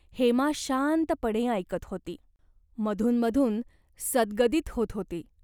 हेमा शांतपणे ऐकत होती. मधूनमधून सद्गदित होत होती.